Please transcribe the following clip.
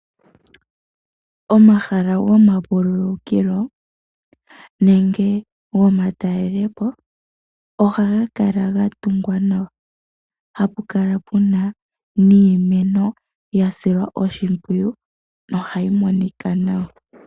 Omahala goma vululukilo nenge goma talelepo, oha gakala gatungwa nawa hapu kala puna niimeno yasilwa oshimpwiyu nohayi monika nawa.